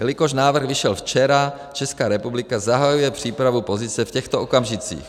Jelikož návrh vyšel včera, Česká republika zahajuje přípravu pozice v těchto okamžicích.